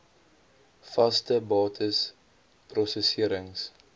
vaste bates prosesserings